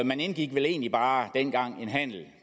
man indgik vel egentlig bare dengang en handel